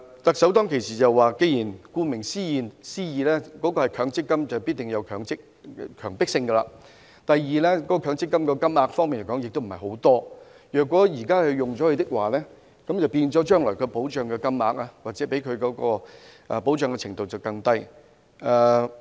特首當時說，顧名思義，強積金必定有強迫性；第二，強積金的金額亦不多，如果現時動用了，將來的金額或可為供款人提供的保障程度便會更低。